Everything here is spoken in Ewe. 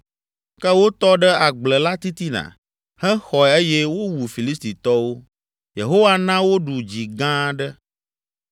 Ke wotɔ ɖe agble la titina, hexɔe eye wowu Filistitɔwo. Yehowa na woɖu dzi gã aɖe.